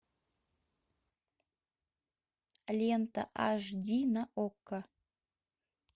лента аш ди на окко